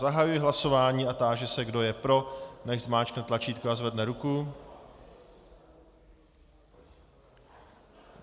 Zahajuji hlasování a táži se, kdo je pro, nechť zmáčkne tlačítko a zvedne ruku.